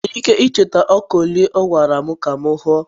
ị nwere ike icheta ọka ole ọ gwara m ka m huo?